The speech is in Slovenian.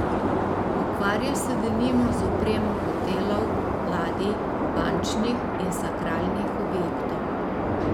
Ukvarja se denimo z opremo hotelov, ladij, bančnih in sakralnih objektov ...